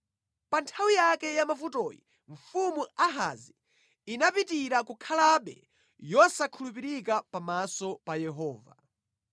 Pa nthawi yake yamavutoyi mfumu Ahazi inapitirira kukhalabe yosakhulupirika pamaso pa Yehova.